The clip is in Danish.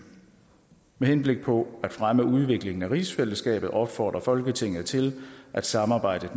med henblik på at fremme udviklingen af rigsfællesskabet opfordrer folketinget til at samarbejdet